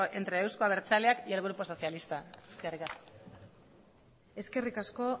entre euzko abertzaleak y el grupo socialista eskerrik asko eskerrik asko